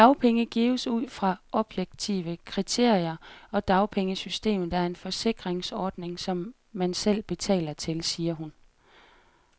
Dagpenge gives ud fra objektive kriterier, og dagpengesystemet er en forsikringsordning, som man selv betaler til, siger hun.